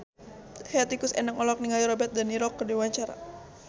Hetty Koes Endang olohok ningali Robert de Niro keur diwawancara